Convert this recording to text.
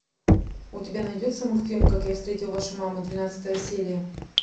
у тебя найдется мультфильм как я встретил вашу маму двенадцатая серия